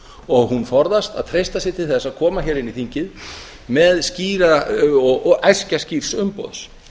og hún forðast að treysta sér til þess að koma hér inn í þingið og æskja skýrs umboðs